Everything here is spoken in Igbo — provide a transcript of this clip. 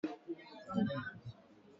Ee, eriri akpụkpọ anụ ga-adịru n'afọ ọzọ